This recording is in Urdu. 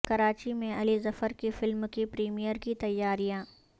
کراچی میں علی ظفر کی فلم کے پریمئر کی تیاریاں